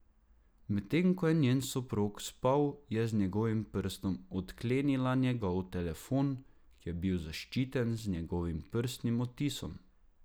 Medtem ko je njen soprog spal, je z njegovim prstom odklenila njegov telefon, ki je bil zaščiten z njegovim prstnim odtisom.